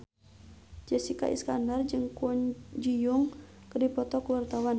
Jessica Iskandar jeung Kwon Ji Yong keur dipoto ku wartawan